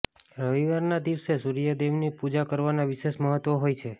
રવિવાર ના દિવસે સૂર્યદેવ ની પૂજા કરવાના વિશેષ મહત્વ હોય છે